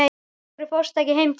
Af hverju fórstu ekki heim til þín?